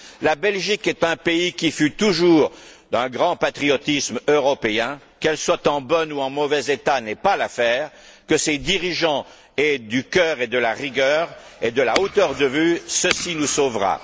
La Belgique est un pays qui fut toujours d'un grand patriotisme européen qu'elle soit en bon ou en mauvais état n'est pas l'affaire, que ses dirigeants aient du cœur et de la rigueur, ainsi que de la hauteur de vue, ceci nous sauvera.